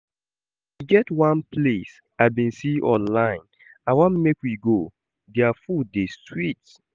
E get one place I bin see online I wan make we go, dia food dey sweet